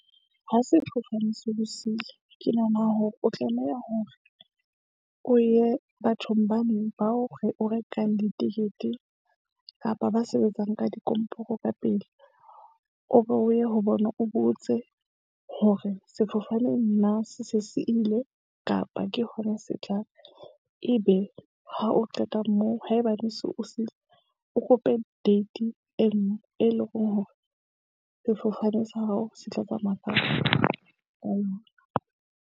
Ha sefofane se o siile, ke nahana hore o tlameha hore o ye bathong ba neng ba o re o rekang di-ticket-e kapa ba sebetsang ka dikomporo ka pele. O be o ye ho bona, o botse hore sefofane nna se se se ile kapa ke hona se tlang ebe ha o qeta moo, haebane se o siile. O kope date e nngwe, e leng hore sefofane sa hao se tla tsamaya ka ka .